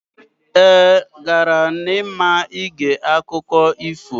Ee, gara n'ama ige akụkọ ifo.